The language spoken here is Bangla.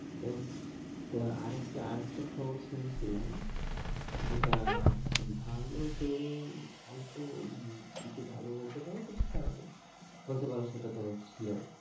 তো, তো আর একটা আর একটা খবর শুনেছিলাম, যেটা ভালো তো অল্প মানে কিছু ভালো বলতে পারো কিছু খারাপ ও বলতে পারো। সেটা তো ছিল